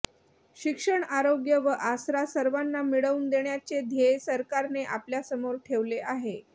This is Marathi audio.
शिक्षण आरोग्य व आसरा सर्वांना मिळवून देण्याचे ध्येय सरकारने आपल्यासमोर ठेवले आहे